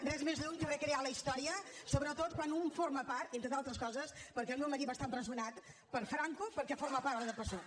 res més lluny que recrear la història sobretot quan un en forma part entre d’altres coses perquè el meu marit va estar empresonat per franco perquè formava part del psuc